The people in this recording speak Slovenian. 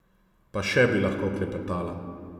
Pa še bi lahko klepetala.